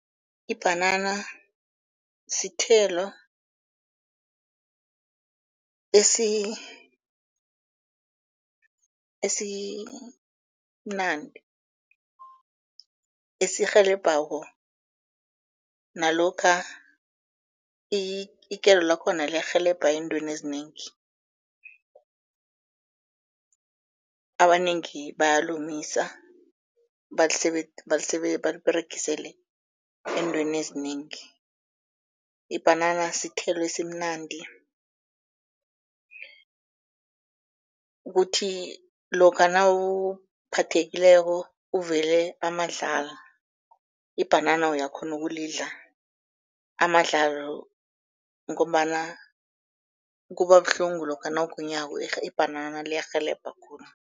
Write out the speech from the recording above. Ibhanana sithelo esimnandi esirhelebhako, nalokha ikelo lakhona liyarhelebha ezintweni ezinengi, abanengi bayalomisa baliberegisele ezintweni ezinengi. Ibhanana sithelo esimnandi, kuthi lokha nawuphathekileko uvele amadlala ibhanana uyakghona ukulidla amadlalo ngombana kubabuhlungu lokha nawuginyako ibhanana liyarhelebha khulu.